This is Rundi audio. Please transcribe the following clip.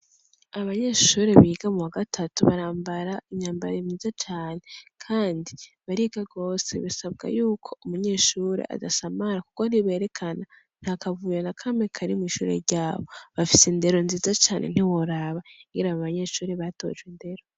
Abanyeshuri biga muwa gatatu barambara imyambaro imeshe cane kandi bariga gose bisabwa yuko umunyeshuri adasamara kuko ntiberekana ntakavuyo nakamwe kari mw'ishuri ryabo bafise indero nziza cane ntiworaba ingene abo banyeshuri batojwe indero.